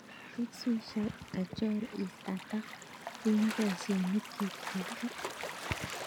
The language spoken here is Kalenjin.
Rick swisher kachor is atak en boisionikyik chepo kasit